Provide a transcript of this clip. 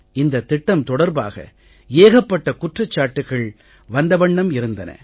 இந்தத் திட்டம் தொடர்பாக ஏகப்பட்ட குற்றச்சாட்டுகள் வந்த வண்ணம் இருந்தன